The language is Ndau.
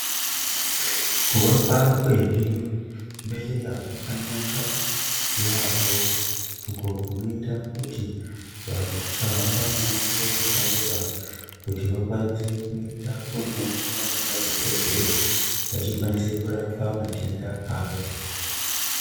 Kuvakwa kwezvi bhedhleya kwakanaka yaambo uko kunoita kuti vanhu vasahamba mumango wakareba kuti vakwanise kuenda kunoonana nemadhokodheya vachikwanise kurapwa matenda avo.